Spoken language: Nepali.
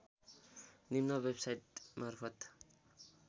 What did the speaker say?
निम्न वेभसाइट मार्फत